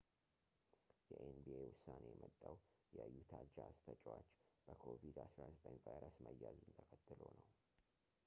የኤንቢኤ ዉሳኔ የመጣዉ የዩታ ጃዝ ተጨዋች በ ኮቪድ-19 ቫይረስ መያዙን ተከትሎ ነዉ